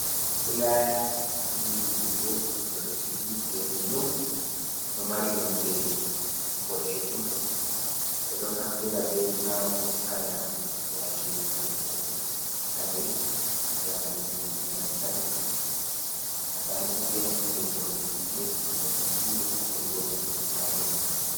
Fulaya ni ɗuɗugo ɗo sigi jerni ɗum, ɗo mari nonde boɗejum, ɓeɗo naftira be fulawani ha yaku yake ta ugo kare jareni lantarki. makaniki’en geroɓe hite hamɓe buri nafturgo be majum.